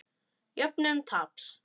Jöfnun taps.